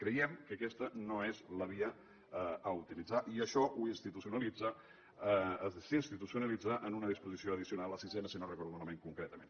creiem que aquesta no és la via a utilitzar i això s’institucionalitza en una disposició addicional la sisena si no ho recordo malament concretament